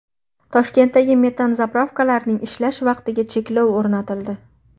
Toshkentdagi metan zapravkalarning ishlash vaqtiga cheklov o‘rnatildi.